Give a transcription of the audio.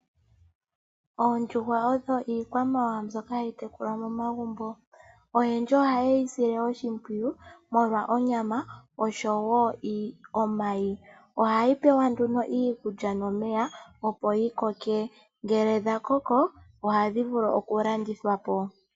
Oondjuhwa odho iikwamawawa mbyoka hayi tekulwa momagumbo. Oyendji ohaye yi sile oshimpwiyu molwa onyama oshowo omayi. Ohayi pewa nduno iikulya nomeya opo yi koke, ngele dha koko ohadhi vulu okulandithwa po.